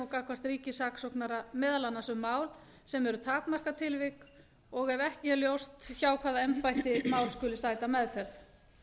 gagnvart ríkissaksóknara meðal annars um mál sem eru takmarkatilvik og ef ekki er ljóst hjá hvaða embætti mál skuli sæta meðferð